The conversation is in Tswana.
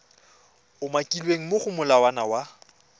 umakilweng mo go molawana wa